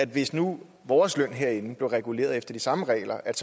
hvis nu vores løn herinde blev reguleret efter de samme regler at